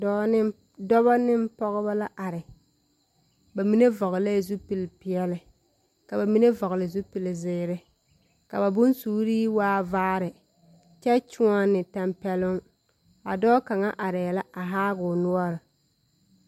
Dɔɔ neŋ, dɔba neŋ pɔgeba la are. Ba mine vɔgelɛɛ zupili peɛle, ka ba mine vɔgele zupili zeere. Ka ba bonsuuri waa vaare kyɛ kyoɔne tampɛloŋ. A dɔ kaŋa arɛɛ la a haa o noɔre.